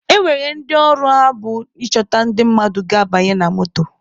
E nwere ndị ọrụ ha bụ ịchọta ndị mmadụ ga-abanye na moto.